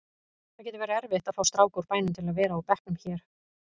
Það getur verið erfitt að fá stráka úr bænum til að vera á bekknum hér.